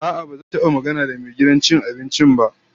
A'a, ba zan taba magana da mai gidan cin abincin ba.